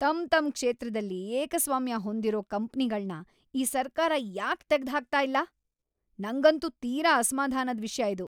ತಮ್ತಮ್ಮ ಕ್ಷೇತ್ರದಲ್ಲಿ ಏಕಸ್ವಾಮ್ಯ ಹೊಂದಿರೋ ಕಂಪ್ನಿಗಳ್ನ ಈ ಸರ್ಕಾರ ಯಾಕ್ ತೆಗ್ದ್‌ಹಾಕ್ತಾ ಇಲ್ಲ?! ನಂಗಂತೂ ತೀರಾ ಅಸಮಾಧಾನದ್‌ ವಿಷ್ಯ ಇದು.